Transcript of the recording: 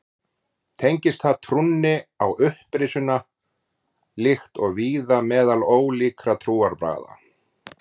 Tengist það trúnni á upprisuna líkt og víða meðal ólíkra trúarbragða.